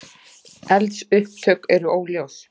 Eldsupptök eru óljós